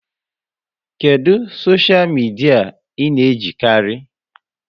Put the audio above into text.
Kedụ soshia midia ị na-ejikarị?